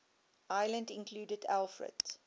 islands included alfred